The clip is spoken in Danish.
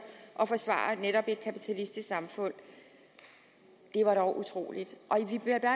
og forsvare netop et kapitalistisk samfund det var dog utroligt og jeg